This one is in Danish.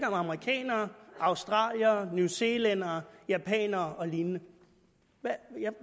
om amerikanerne australierne newzealændere japanere og lignende